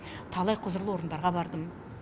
талай құзырлы орындарға бардым